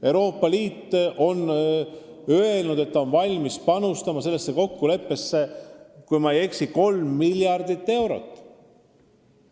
Euroopa Liit on öelnud, et ta on valmis panustama sellesse kokkuleppesse, kui ma ei eksi, 3 miljardit eurot.